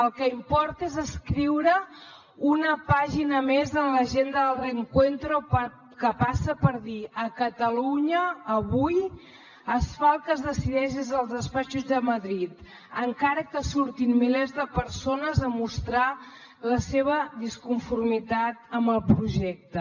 el que importa és escriure una pàgina més en l’agenda del reencuentro que passa per dir a catalunya avui es fa el que es decideix des dels despatxos de madrid encara que surtin milers de persones a mostrar la seva disconformitat amb el projecte